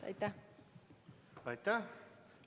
Aitäh!